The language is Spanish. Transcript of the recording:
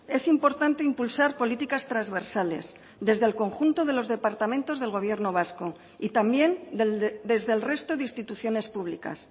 es importante impulsar políticas transversales desde el conjunto de los departamentos del gobierno vasco y también desde el resto de instituciones públicas